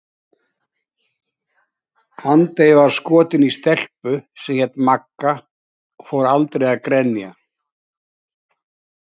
Andri var skotinn í stelpu sem hét Magga og fór aldrei að grenja.